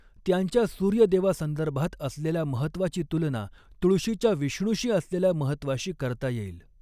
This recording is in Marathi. त्यांच्या सूर्यदेवासंदर्भात असलेल्या महत्त्वाची तुलना तुळशीच्या विष्णूशी असलेल्या महत्त्वाशी करता येईल.